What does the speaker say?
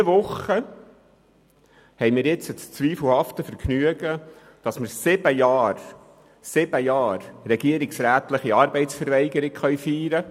Diese Woche haben wir das zweifelhafte Vergnügen, sieben Jahre regierungsrätliche Arbeitsverweigerung zu feiern.